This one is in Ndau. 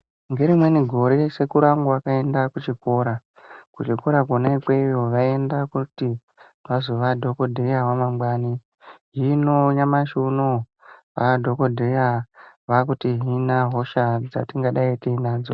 Ngerimweni gore sekuru angu akaenda kuchikora kuchikora kona ikweyo vaienda kuti vazova dhokodheya wamangwani hino nyamashi unou vaadhokodheya vaakutihina hosha dzatingadai tinadzo.